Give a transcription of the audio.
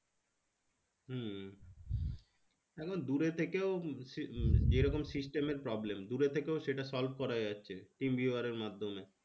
হম এখন দূরে থেকেও সে যেরকম system এর problem দূরে থেকেও সেটা solve করা যাচ্ছে টিম ভিউয়ারের মাধ্যমে